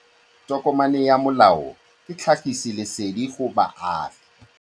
Tokomane ya molao ke tlhagisi lesedi go baagi.